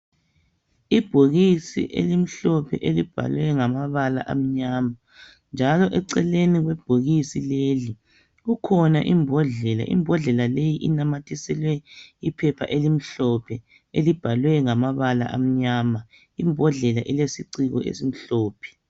Ibhokisi elimhlophe elibhalwe ngamabala amnyama njalo eceleni kwebhokisi leli kukhona imbodlela, imbodlela leyi inamathiselwe iphepha elimhlophe elibhalwe ngamabala amnyama imbodlela ilesiciko esimhlophe.